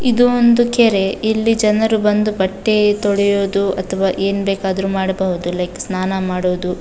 ಇದು ಒಂದು ಕೆರೆ ಇಲ್ಲಿ ಜನರು ಬಂದು ಬಟ್ಟೆ ತೊಳೆಯೋದು ಮತ್ತು ಏನು ಬೇಕಾದ್ರು ಮಾಡಬಹುದು ಲೈಕ್ ಸ್ನಾನ ಮಾಡೋದು.